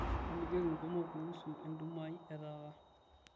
tolikioki nkumok kuusu entumo aai etaata